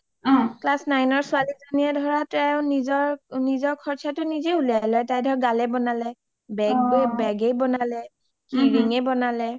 class nine ৰ ছোৱালী জনীয়ে নিজৰ সৰচাটো নিজে ওলিয়াই লই , তাই ধৰা গালে বনালে , beg য়ে বনালে, key ring য়ে বনালে